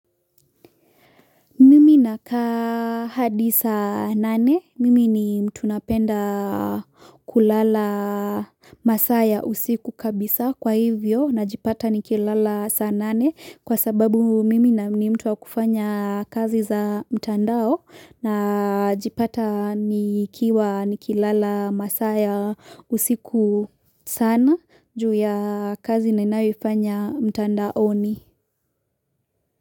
Mimi nakaa hadi saa nane, mimi ni mtu napenda kulala masaa ya usiku kabisa kwa hivyo najipata nikilala saa nane kwa sababu mimi ni mtu wa kufanya kazi za mtandao na jipata nikiwa nikilala masaa ya usiku sana juu ya kazi ninayo ifanya mtandaoni.